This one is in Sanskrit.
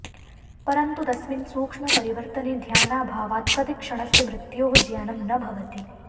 परन्तु तस्मिन् सूक्ष्मपरिवर्तने ध्यानाभावाद् प्रतिक्षणस्य मृत्योः ज्ञानं न भवति